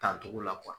Tancogo la